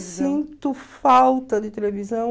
sinto falta de televisão.